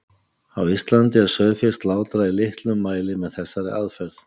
Á Íslandi er sauðfé slátrað í litlum mæli með þessari aðferð.